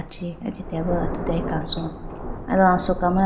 chee aji teya ba athutiya kaso aba asoka ma.